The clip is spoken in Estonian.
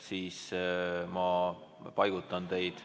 Ma paigutan teid ...